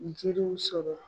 Njiriw sɔrɔ.